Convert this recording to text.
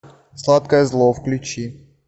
сладкое зло включи